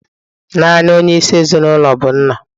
Naanị onye isi ezinụlọ bụ nna.